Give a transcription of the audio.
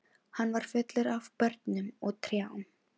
Hann var fullur af börnum og trjám.